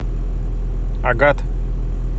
агат